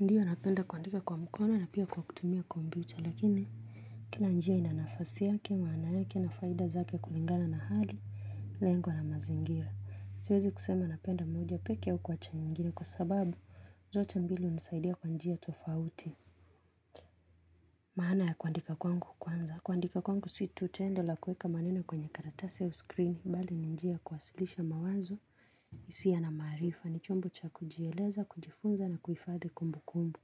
Ndiyo napenda kuandika kwa mkono na pia kwa kutumia kwa kompyuta lakini, kila njia ina nafasi yake, maana yake na faida zake kulingana na hali, lengo na mazingira. Siwezi kusema napenda moja peke au kuwacha nyingine kwa sababu, zote mbili hunisaidia kwa njia tofauti. Mahana ya kuandika kwangu kwanza, kuandika kwangu si tu tendo la kueka maneno kwenye karatasi au skrini, bali ni njia ya kuwasilisha mawazo, hisia na maarifa, ni chombo cha kujieleza, kujifunza na kuhifadhi kumbu kumbu.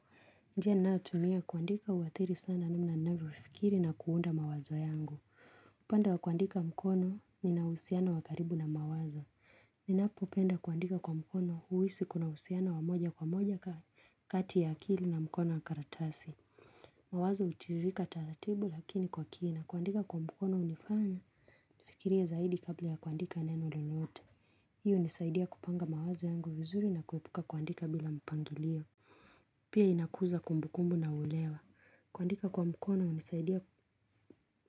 Njia ninayotumia kuandika huathiri sana namna ninavyofikiri na kuunda mawazo yangu. Upande wa kuandika mkono, nina uhusiano wa karibu na mawazo. Ninapopenda kuandika kwa mkono huhisi kuna uhusiano wa moja kwa moja. Kati ya akili na mkono wa karatasi. Mawazo hutiririka taratibu lakini kwa kina. Kuandika kwa mkono hunifanya nifikirie zaidi kabla ya kuandika neno lolote. Hiyo hunisaidia kupanga mawazo yangu vizuri na kuepuka kuandika bila mpangilio. Pia inakuza kumbu kumbu na ulewa. Kuandika kwa mkono hunisaidia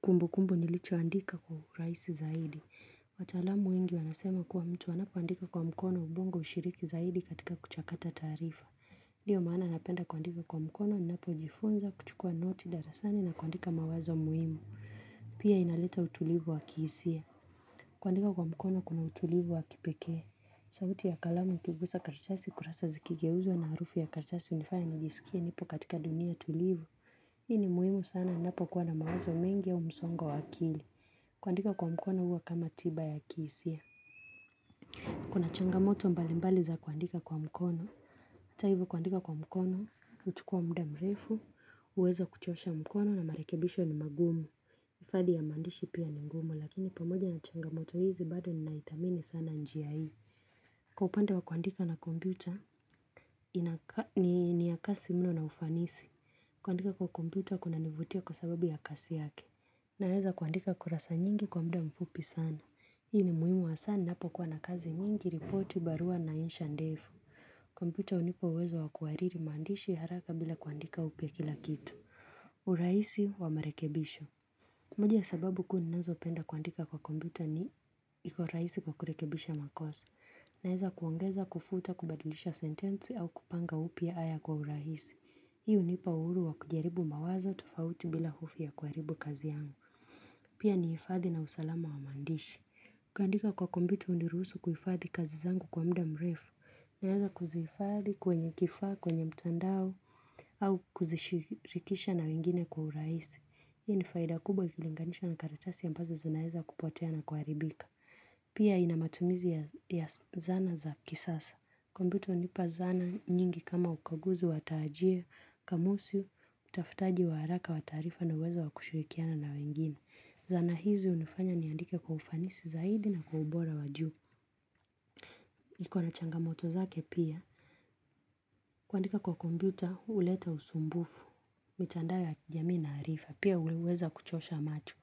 kumbu kumbu nilichoandika kwa urahisi zaidi. Wataalamu wengi wanasema kuwa mtu anapoandika kwa mkono ubongo hushiriki zaidi katika kuchakata taarifa. Ndiyo maana napenda kuandika kwa mkono ninapojifunza kuchukua noti darasani na kuandika mawazo muhimu. Pia inaleta utulivu wa kihisia. Kuandika kwa mkono kuna utulivu wa kipekee. Sauti ya kalamu ikigusa karatasi kurasa zikigeuzwa na harufu ya karatasi hunifanya nijisikie nipo katika dunia tulivu. Hii ni muhimu sana napokuwa na mawazo mengi au msongo wa akili. Kuandika kwa mkono huwa kama tiba ya kihisia. Kuna changamoto mbali mbali za kuandika kwa mkono. Hata hivo kuandika kwa mkono, huchukua muda mrefu, huweza kuchosha mkono na marekebisho ni magumu. Ifadhi ya maandishi pia ni ngumu lakini pamoja na changamoto hizi bado ninaithamini sana njia hii. Kwa upande wa kuandika na kompyuta, ni ya kasi mno na ufanisi. Kuandika kwa kompyuta kunanivutia kwa sababu ya kasi yake. Naweza kuandika kurasa nyingi kwa mda mfupi sana. Hii ni muhimu hasaa ninapokuwa na kazi nyingi, ripoti, barua na insha ndefu. Kompyuta hunipa uwezo wa kuhariri maandishi haraka bila kuandika upya kila kitu. Urahisi wa marekebisho. Moja ya sababu kuu ninazopenda kuandika kwa kompyuta ni, iko rahisi kwa kurekebisha makosa. Naweza kuongeza, kufuta kubadilisha sentensi au kupanga upya haya kwa urahisi. Hii hunipa uhuru wa kujaribu mawazo tofauti bila hofu ya kuharibu kazi yangu. Pia ni hifadhi na usalamu wa maandishi. Kuandika kwa kompyuta huniruhusu kuhifadhi kazi zangu kwa mda mrefu. Naweza kuzihifadhi kwenye kifaa, kwenye mtandao au kuzishirikisha na wengine kwa urahisi. Hii ni faida kubwa ikilinganishwa na karatasi ambazo zinaweza kupotea na kuharibika. Pia inamatumizi ya zana za kisasa. Kompyuta hunipa zana nyingi kama ukaguzi wa taajia, kamusi, utafutaji wa haraka wa taarifa na uweza wa kushirikiana na wengine. Zana hizi hunifanya niandike kwa ufanisi zaidi na kwa ubora wa juu. Iko na changamoto zake pia. Kuandika kwa kompyuta, huleta usumbufu. Mitandao ya kijamii na harifa. Pia huweza kuchosha macho.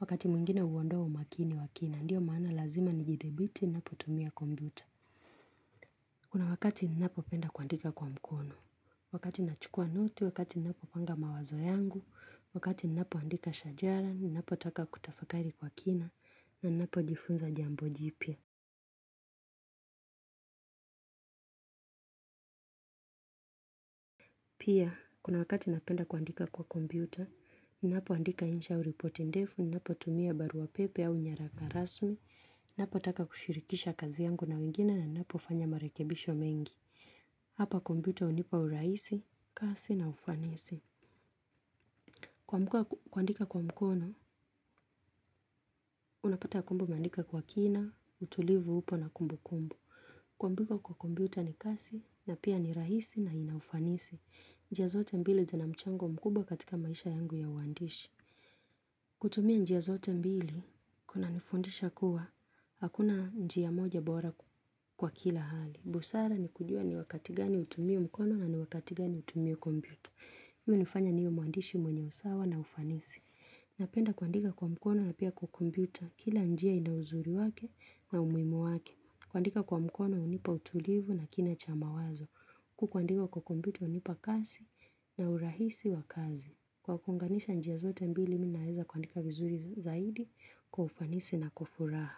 Wakati mwingine huondoa umakini wa kina, ndio maana lazima nijidhibiti, ninapotumia kompyuta. Kuna wakati ninapopenda kuandika kwa mkono. Wakati nachukua note, wakati ninapopanga mawazo yangu, wakati ninapoandika shajara, ninapotaka kutafakari kwa kina, na ninapojifunza jambo jipya. Pia, kuna wakati napenda kuandika kwa kompyuta, ninapoandika insha au ripoti ndefu, ninapotumia barua pepe au nyaraka rasmi, napotaka kushirikisha kazi yangu na wengine na ninapofanya marekebisho mengi. Hapa kompyuta hunipa urahisi, kasi na ufanisi. Kuamka kuandika kwa mkono, unapata kumbe umeandika kwa kina, utulivu upo na kumbu kumbu. Kuandika kwa kompyuta ni kasi na pia ni rahisi na ina ufanisi. Njia zote mbili zina mchango mkubwa katika maisha yangu ya uandishi. Kutumia njia zote mbili, kunanifundisha kuwa, hakuna njia moja bora kwa kila hali. Busara ni kujua ni wakati gani hutumii mkono na ni wakati gani utumie kompyuta. Hii hunifanya niwe mwandishi mwenye usawa na ufanisi. Napenda kuandika kwa mkono na pia kwa kompyuta. Kila njia ina uzuri wake na umuhimu wake. Kuandika kwa mkono hunipa utulivu na kina cha mawazo. Kukuandika kwa kompyuta hunipa kasi na urahisi wa kazi. Kwa kuunganisha njia zote mbili mi naweza kuandika vizuri zaidi kwa ufanisi na kwa furaha.